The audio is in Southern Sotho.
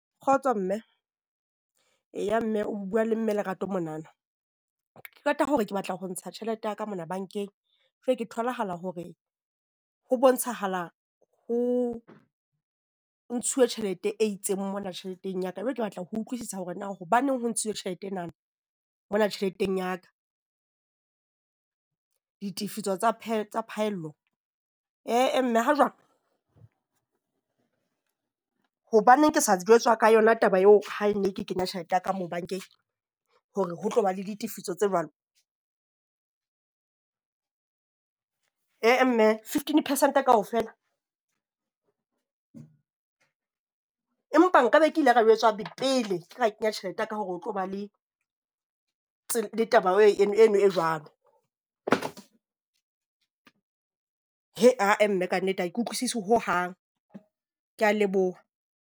Kgotso, mme. Eya mme o bua le mme Lerato monana. Ke qeta hore ke batla ho ntsha tjhelete ya ka mona bankeng jwale ke tholahala hore ho bontshahala ho o ntshutwe tjhelete e itseng mona tjheleteng ya ka. Jwale ke batla ho utlwisisa hore na hobaneng ho ntshuwe tjhelete enana mona tjheleteng ya ka? Ditefiso tsa tsa phaello. He-eh mme ha jwang? Hobaneng ke sa jwetswa ka yona taba eo ha e ne ke kenya tjhelete ya ka moo bankeng hore ho tloba le ditefiso tse jwalo? He-eh mme, fifteen percent kaofela? Empa nkabe ke ile ka jwetswa pele ke ka kenya tjhelete ya ka hore ho tlo ba le le taba eno e jwalo. Ha-eh mme kannete ha ke utlwisisi hohang. Ke a leboha.